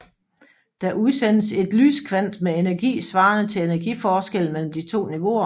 Der udsendes et lyskvant med energi svarende til energiforskellen mellem de to niveauer